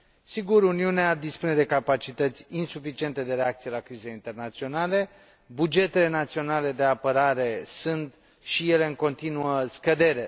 Sigur, Uniunea dispune de capacități insuficiente de reacție la crizele internaționale, bugetele naționale de apărare sunt și ele în continuă scădere.